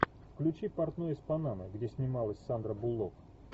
включи портной из панамы где снималась сандра буллок